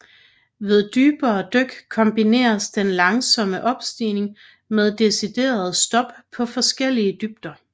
Ved dybere dyk kombineres den langsomme opstigning med deciderede stop på forskellige dybder